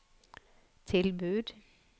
tilbud